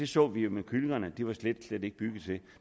så vi jo med kyllingerne at det er de slet slet ikke bygget til